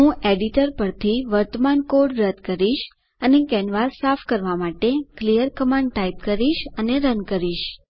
હું એડિટર પરથી વર્તમાન કોડ રદ કરીશ અને કેનવાસ સાફ કરવા માટે ક્લિયર કમાન્ડ ટાઇપ કરીશ અને રન કરીશ